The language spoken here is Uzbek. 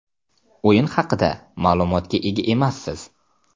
O‘yin haqida ma’lumotga ega emassiz.